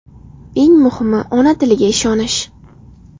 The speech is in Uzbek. Eng muhimi, ona tiliga ishonish!